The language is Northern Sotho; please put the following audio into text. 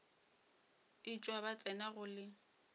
etšwa ba tsena go le